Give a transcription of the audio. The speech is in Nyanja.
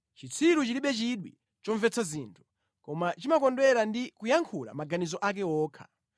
Chitsiru chilibe chidwi chomvetsa zinthu, koma chimakondwera ndi kuyankhula maganizo ake okha.